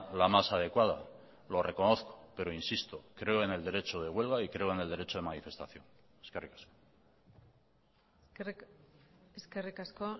la más adecuada lo reconozco pero insisto creo en el derecho de huelga y creo en el derecho de manifestación eskerrik asko eskerrik asko